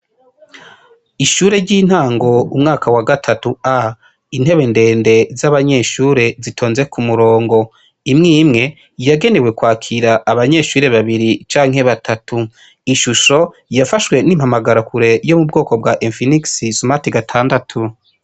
Ishure ry'intango umwaka wa gatatu A intebe ndende z' abanyeshure zitonze ku murongo imwe imwe yagenewe kwakira abanyeshure babiri cane batatu iyi shusho yafashwe n' impamagara kure yo mu bwoko bwa infinix sumarte gatandatu.